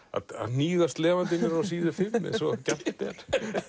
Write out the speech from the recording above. hníga slefandi niður á síðu fimm eins og gjarnt er